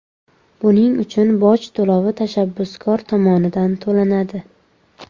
Buning uchun boj to‘lovi tashabbuskor tomonidan to‘lanadi.